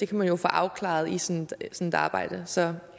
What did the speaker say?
man jo få afklaret i sådan et arbejde så